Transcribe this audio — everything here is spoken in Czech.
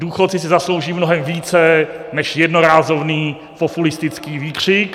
Důchodci si zaslouží mnohem více než jednorázový populistický výkřik.